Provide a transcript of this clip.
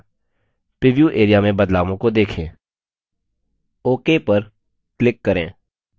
preview area में बदलावों को देखें ok पर click करें